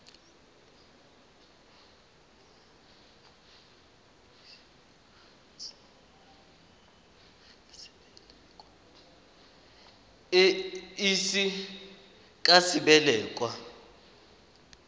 e ise ka sebele kwa